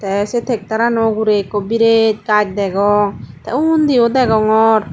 teh seh tacter anoh ugury ekku biret gaj degong teh undi oh degongor.